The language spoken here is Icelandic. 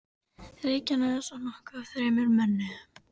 Reykjanes og nokkuð af þremur mönnum.